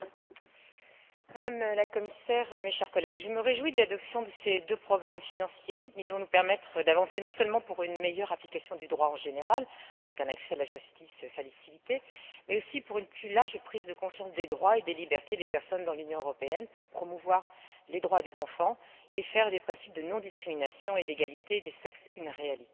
Monsieur le Président, Madame la Commissaire, chers collègues, je me réjouis de l'adoption de ces deux programmes financiers. Ils vont nous permettre d'avancer non seulement vers une meilleure application du droit en général, avec un accès facilité à la justice, mais aussi vers une plus large prise de conscience des droits et des libertés des personnes dans l'Union européenne, permettant de promouvoir les droits des enfants et de faire des principes de non discrimination et d'égalité des sexes une réalité.